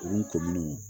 Olu to minnu